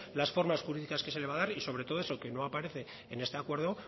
las formas jurídicas que se le va a dar y sobre todo eso que no aparece en este acuerdo